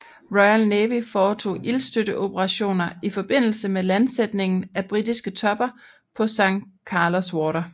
Royal Navy foretog ildstøtteoperationer i forbindelse med landsætningen af britiske tropper på San Carlos Water